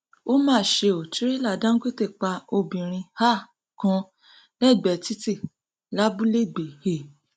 ó mà ṣe ó tìrẹlà dàńgọtẹ pa obìnrin um kan lẹgbẹẹ títí lábúléẹgbẹ um